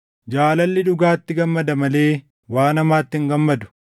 Jaalalli dhugaatti gammada malee waan hamaatti hin gammadu.